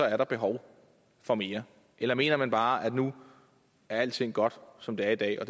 er der behov for mere eller mener man bare at nu er alting godt som det er i dag og